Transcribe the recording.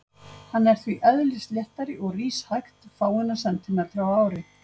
Hann er því eðlisléttari og rís hægt, fáeina sentímetra á ári.